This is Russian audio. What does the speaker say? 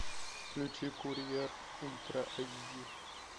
включи курьер ультра эйч ди